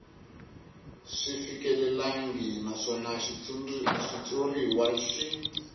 swi fikelelangi naswona xitshuriwa xi